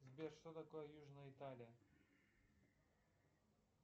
сбер что такое южная италия